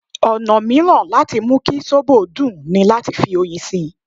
Ọ̀nà mìíràn láti mú kí sóbò dùn ní láti fi oyin sí i.